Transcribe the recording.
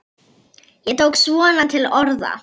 Ég tók svona til orða.